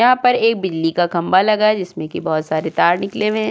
यहां पर एक बिजली का खंभा लगा है जिसमें कि बहोत सारे तार निकले हुए हैं।